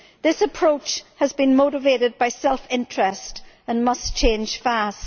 This approach has been motivated by self interest and must change fast.